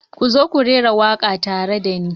Ku zo ku raira waƙa tare da ni.